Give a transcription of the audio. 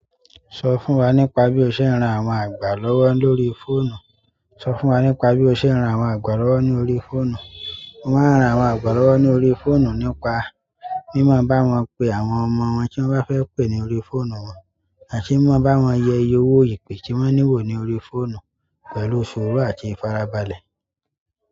Sọ fún wa nípa bí o ṣe ń ran àwọn àgbà lọ́wọ́ lórí fóònù. Sọ fún wa nípa bí o ṣe ń ran àwọn àgbà lọ́wọ́ ní orí fóònù. Mo máa ń ran àwọn àgbà lọ́wọ́ ní orí fóònù nípa mí máa báwọn pe àwọn ọmọ wọn tí wọ́n bá fẹ́ pè ní orí fóònù wọn àti mímọ̀ báwọn yẹ iye owó ìpè tí wọ́n ní wò ní orí fóònù pẹ̀lú suuru àti ìfarabalẹ̀.